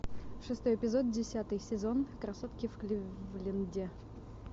шестой эпизод десятый сезон красотки в кливленде